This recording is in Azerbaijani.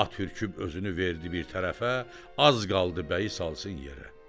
At ürküb özünü verdi bir tərəfə, az qaldı bəyi salsın yerə.